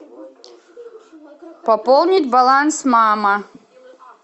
пополнить баланс мама